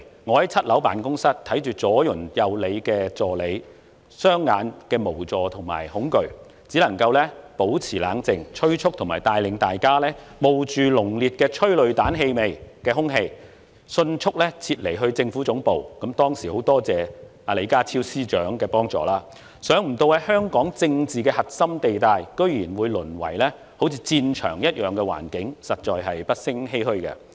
我在7樓辦公室看着兩旁助理雙眼的無助及恐懼，只能保持冷靜，催促和帶領大家冒着帶有濃烈催淚彈氣味的空氣，迅速撤離至政府總部——很多謝當時李家超局長的幫助——想不到香港的政治核心地帶，居然會淪為好像戰場一樣的環境，實在不勝欷歔。